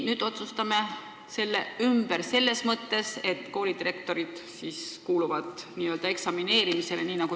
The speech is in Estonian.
Nüüd otsustame selle ümber – selles mõttes, et koolidirektorid kuuluvad nagu õpilasedki n-ö eksamineerimisele.